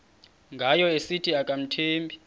ngayo esithi akamthembi